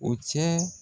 O cɛ